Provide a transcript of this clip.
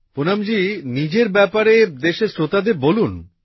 পুনমজী নিজের ব্যাপারে দেশের শ্রোতাদের বলুন